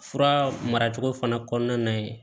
Fura maracogo fana kɔnɔna na ye